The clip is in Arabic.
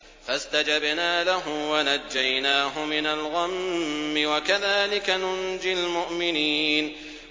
فَاسْتَجَبْنَا لَهُ وَنَجَّيْنَاهُ مِنَ الْغَمِّ ۚ وَكَذَٰلِكَ نُنجِي الْمُؤْمِنِينَ